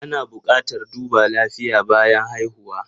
Ana buƙatar duba lafiya bayan haihuwa.